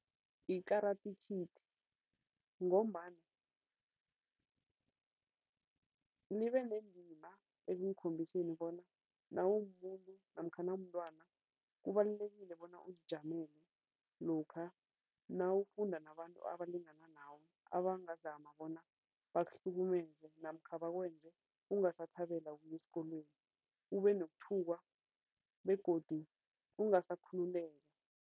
I-Karate Kid ngombana libe nendima ekungikhombiseni bona nawumumuntu namkha nawumntwana kubalulekile bona uzijamele lokha nawufunda nabantu abalingani nawe, abangazama bona bakuhlukumeze namkha bakwenze ungasathabela ukuya esikolweni, ubenokuthukwa begodu ungasakhululeka.